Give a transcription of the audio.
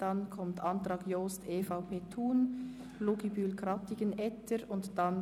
Danach folgen die Anträge Jost/EVP, Thun, Luginbühl/BDP, Krattigen, BDP, und Etter/ Treiten, BDP.